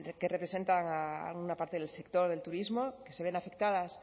que representan a una parte del sector del turismo que se ven afectadas